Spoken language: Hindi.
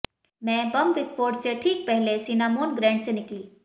मैं बम विस्फोट से ठीक पहले सिनामोन ग्रैंड से निकली